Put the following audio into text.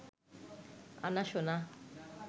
আনা সোনা